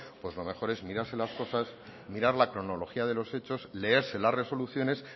pues lo mejor es mirarse las cosas mirar las cronología de los hechos leerse las resoluciones